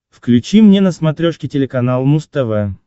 включи мне на смотрешке телеканал муз тв